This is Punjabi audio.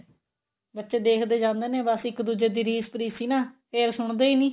ਬੱਚੇ ਦੇਖਦੇ ਜਾਂਦੇ ਨੇ ਬਸ ਇੱਕ ਦੁੱਜੇ ਦੀ ਰੀਸ ਰੀਸ ਚ ਈ ਨਾ ਫੇਰ ਸੁਣਦੇ ਈ ਨੀ